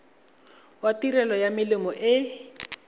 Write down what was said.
wa tirelo ya melemo e